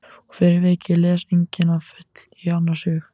Og fyrir vikið les enginn að fullu í annars hug.